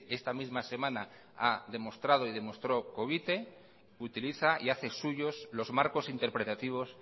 esta misma semana ha demostrado y demostró covite utiliza y hace suyos los marcos interpretativos